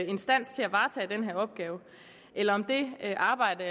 instans til at varetage denne opgave eller om det arbejde